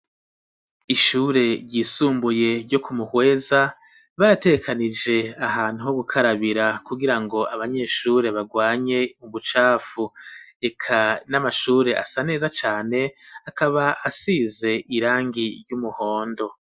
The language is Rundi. Ishure ryisumbuye ryo ku Muhweza barategekanije ahantu ho gukarabira ku girango abanyeshure barwanye ubucafu eka n'amashure asa neza cane akaba asize irangi ry'umuhondo.